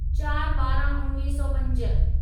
चारि ॿाराहं उणिवीह सौ पंज